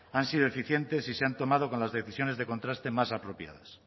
han sido eficientes si se han tomado con las decisiones de contraste más apropiadas